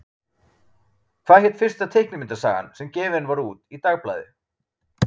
Hvað hét fyrsta teiknimyndasagan sem gefin var út í dagblaði?